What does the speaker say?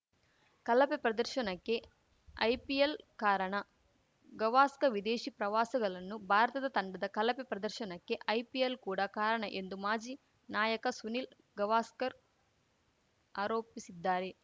ಕಲಪೆ ಪ್ರದರ್ಶನಕ್ಕೆ ಐಪಿಎಲ್‌ ಕಾರಣ ಗವಾಸ್ಕರ್‌ ವಿದೇಶಿ ಪ್ರವಾಸಗಲನ್ನು ಭಾರತದ ತಂಡದ ಕಳಪೆ ಪ್ರದರ್ಶನಕ್ಕೆ ಐಪಿಎಲ್‌ ಕೂಡ ಕಾರಣ ಎಂದು ಮಾಜಿ ನಾಯಕ ಸುನಿಲ್‌ ಗವಾಸ್ಕರ್‌ ಆರೋಪಿಸಿದ್ದಾರೆ